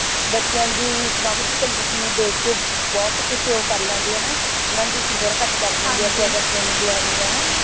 ਬੱਚਿਆਂ ਦੀ economical condition ਨੂੰ ਦੇਖ ਕੇ ਬਹੁਤ ਕੁਛ ਉਹ ਕਰ ਲੈਂਦੇ ਹੈ ਨਾ ਊਨਾ ਦੀ ਫੀਸ ਘਟ ਕਰ ਦੇਂਦੇ ਹੈ ਅਗਰ training ਲੈਣੀ ਹੈ ਨਾ